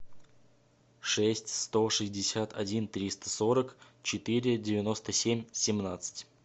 шесть сто шестьдесят один триста сорок четыре девяносто семь семнадцать